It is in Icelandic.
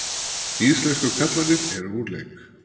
Íslensku karlarnir eru úr leik